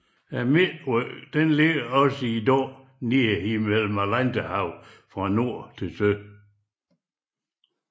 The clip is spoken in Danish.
Midtryggen løber også i dag ned igennem Atlanterhavet fra nord til syd